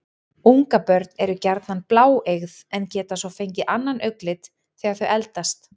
Ungabörn eru gjarnan bláeygð en geta svo fengið annan augnlit þegar þau eldast.